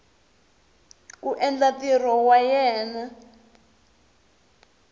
ku endla ntirho wa yena